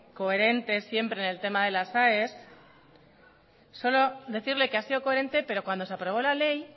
coherente siempre en el tema de las aes solo decirle que ha sido coherente pero cuando se aprobó la ley